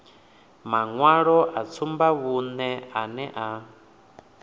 maṅwalo a tsumbavhuṅe ane a